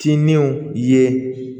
Tinnenw ye